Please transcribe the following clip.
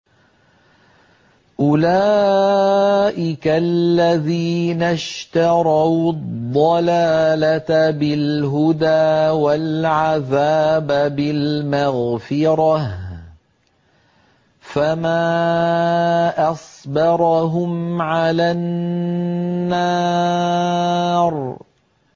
أُولَٰئِكَ الَّذِينَ اشْتَرَوُا الضَّلَالَةَ بِالْهُدَىٰ وَالْعَذَابَ بِالْمَغْفِرَةِ ۚ فَمَا أَصْبَرَهُمْ عَلَى النَّارِ